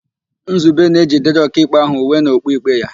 Nzube na-ejidere Ọkaikpe ahụ uwe na okpu ikpe ya.